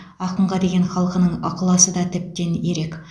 ақынға деген халқының ықыласы да тіптен ерек